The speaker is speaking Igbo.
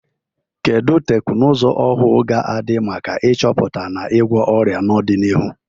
Kedu teknụzụ ọhụụ ga-adị maka ịchọpụta na ịgwọ ọrịa n'ọdịnihu?